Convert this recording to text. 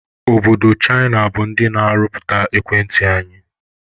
Obodo Chịna bụ ndị na-arụpụta ekwentị anyị